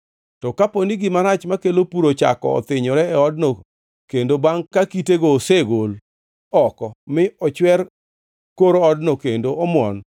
“To kapo ni gima rach makelo pur ochako othinyore e odno kendo bangʼ ka kitego osegol oko mi ochwer kor odno kendo omuon,